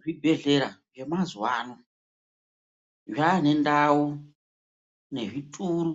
Zvibhehlera zvemazuvano zvaanendau nezvituru